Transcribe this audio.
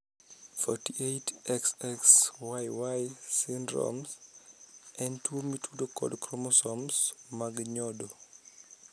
48,XXYY syndrome en tuo mitudo kod kromosoms mag nyodo.